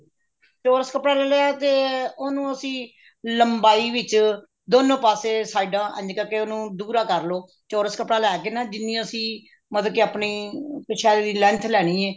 ਚੋਰਸ ਕੱਪੜਾ ਲੈ ਲਿਆ ਤੇ ਉਹਨੂੰ ਅਸੀਂ ਲੰਬਾਈ ਵਿੱਚ ਦੋਨੋ ਪਾਸੇ ਕੀ ਸਾਈਡਾ ਇੰਝ ਕਰਕੇ ਉਹਨੂੰ ਦੁਹਰਾ ਕਰਲੋ ਚੋਰਸ ਕੱਪੜਾ ਲੈਕੇ ਨਾ ਜਿੰਨੀ ਅਸੀਂ ਮਤਲਬ ਕੀ ਆਪਣੇ ਕਛੇਰੇ ਦੀ length ਲੈਣੀ ਹੈ